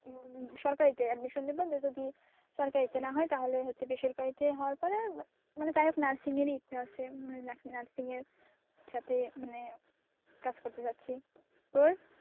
সরকারিতে admission নেব নয়তো কি সরকারিতে না হয় বেসরকারিতে হওয়ার পরে মানে যাই হোক নার্সিং এরই ইচ্ছা আছে মানে নার্সিং এর সাথে মানে কাজ করতে চাচ্ছি। তোর?